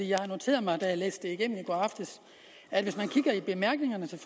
jeg noterede mig da jeg læste det igennem i går aftes at hvis man kigger i bemærkningerne til